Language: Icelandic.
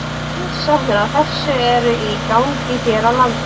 Rannsóknir á þessu eru í gangi hér á landi.